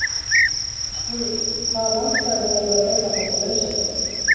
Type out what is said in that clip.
Guðrún: Hvaða landsvæði eru, leyfa þessa lausagöngu?